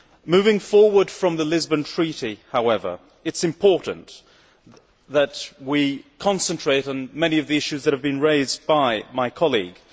Moving forward from the Lisbon Treaty, however, it is important that we concentrate on many of the issues that have been raised by my colleague.